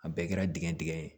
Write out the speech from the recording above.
A bɛɛ kɛra dingɛn dingɛ ye